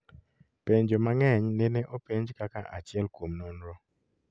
Penjo mang'eny nene openj kaka achiel kuom nonro